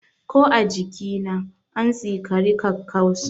Ko a jikina, an tsikari kakkausa.